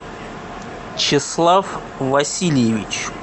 чеслав васильевич